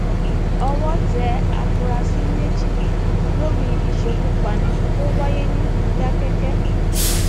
owó um tẹ àfúrásì méjì lórí ìṣekúpani um tó wáyé ní mòdákẹkí